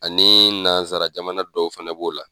Ani nansara jamana dɔw fana b'o la